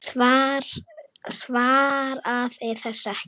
Svaraði þessu ekki.